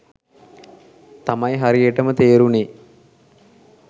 තමයි හරියටම තේරුනේ.